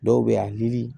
Dɔw bɛ a ni